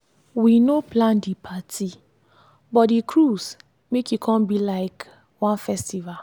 we no plan di parti but di cruise make e come be like one festival.